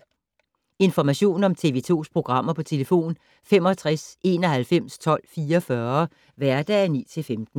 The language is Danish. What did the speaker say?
Information om TV 2's programmer: 65 91 12 44, hverdage 9-15.